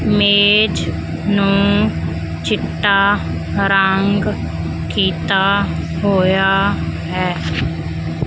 ਮੇਜ ਨੂੰ ਚਿੱਟਾ ਰੰਗ ਕੀਤਾ ਹੋਇਆ ਹੈ।